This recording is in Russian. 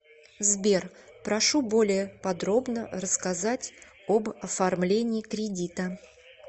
сбер прошу более подробно рассказать об оформлении кредита